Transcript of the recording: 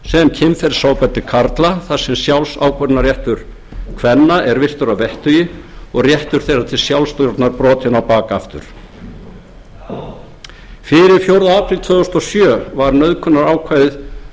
kynferðisofbeldi karla þar sem sjálfsákvörðunarréttur kvenna er virtur að vettugi og réttur þeirra til sjálfsstjórnar brotinn á bak aftur fyrir fjórða apríl tvö þúsund og fimm var nauðgunarákvæðið orðað nokkurn veginn með